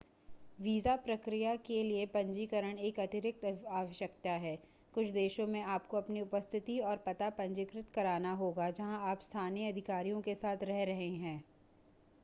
visa प्रक्रिया के लिए पंजीकरण एक अतिरिक्त आवश्यकता है कुछ देशों में आपको अपनी उपस्थिति और पता पंजीकृत करना होगा जहां आप स्थानीय अधिकारियों के साथ रह रहे हैं